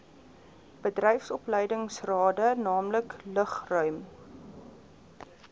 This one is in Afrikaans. bedryfsopleidingsrade naamlik lugruim